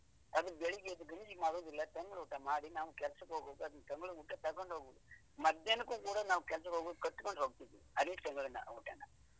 ಅದು ಬೆಳಿಗ್ಗೆ ಎದ್ದು ಗಂಜಿ ಮಾಡುದಿಲ್ಲ ತಂಗ್ಳೂಟ ಮಾಡಿ ನಾವು ಕೆಲ್ಸಕ್ಕೆ ಹೋಗುವಾಗ ತಂಗ್ಳೂಟ ತಗೊಂಡೋಗುದು, ಮಧ್ಯಾಹ್ನಕ್ಕೂ ಕುಡಾ ನಾವು ಕೆಲ್ಸಕ್ಕೆ ಹೋಗುವಾಗ ಕಟ್ಟಿಕೊಂಡೊಂಗ್ತಿವಿ ಅದೇ ತಂಗ್ಳನ್ನ ಊಟನ.